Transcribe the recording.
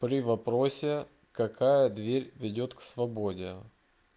при вопросе какая дверь ведёт к свободе